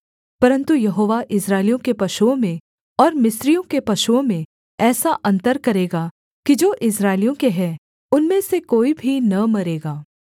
परन्तु यहोवा इस्राएलियों के पशुओं में और मिस्रियों के पशुओं में ऐसा अन्तर करेगा कि जो इस्राएलियों के हैं उनमें से कोई भी न मरेगा